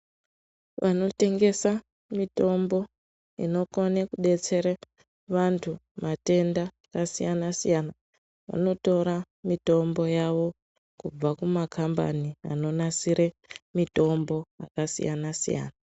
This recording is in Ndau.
Vanotengesa mitombo inokone kudetsera vantu matenda akasiyana siyana vanotora mitombo yavo kubva kumakhambani anonasire mitombo akasiyana siyana.